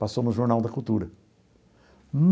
Passou no Jornal da Cultura.